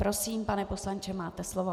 Prosím, pane poslanče, máte slovo.